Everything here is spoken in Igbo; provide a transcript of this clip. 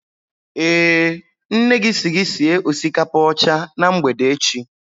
Eh, nne si gị sie osikapa ọcha na mgbede echi